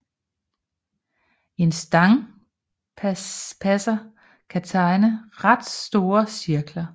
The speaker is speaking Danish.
En stangpasser kan tegne ret store cirkler